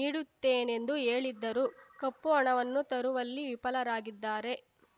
ನೀಡುತ್ತೇನೆಂದು ಹೇಳಿದ್ದರೂ ಕಪ್ಪು ಹಣವನ್ನು ತರುವಲ್ಲಿ ವಿಫಲರಾಗಿದ್ದಾರೆ